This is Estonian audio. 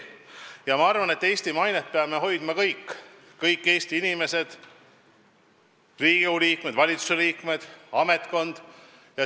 Ja ma arvan, et Eesti mainet peame hoidma kõik, kõik Eesti inimesed, kaasa arvatud Riigikogu liikmed, valitsuse liikmed, ametnikkond.